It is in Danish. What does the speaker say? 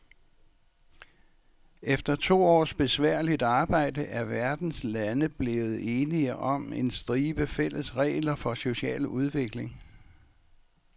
Efter to års besværligt forarbejde er verdens lande blevet enige om en stribe fælles regler for social udvikling.